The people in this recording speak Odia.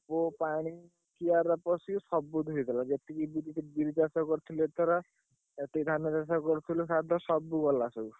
ସବୁ ପାଣି କିଆରିରେ ପଶି ସବୁ ଧୋଇ ଗଲା।